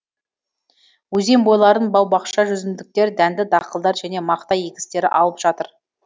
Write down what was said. өзен бойларын бау бақша жүзімдіктер дәнді дақылдар және мақта егістері алып жатыр